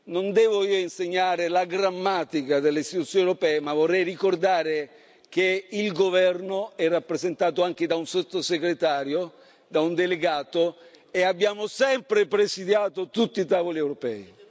Non devo io insegnare la grammatica delle Istituzioni europee, ma vorrei ricordare che il governo è rappresentato anche da un sottosegretario, da un delegato, e abbiamo sempre presidiato tutti tavoli europei.